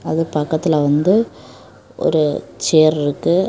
அது பக்கத்துல வந்து ஒரு சேர் இருக்கு.